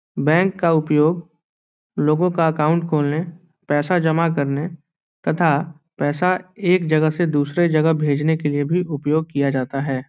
Bank का उपयोग लोगो का अकाउंट खोलने पैसा जमा करने तथा पैसा एक जगह से दूसरे जगह भेजने के लिए भी उपयोग किया जाता है।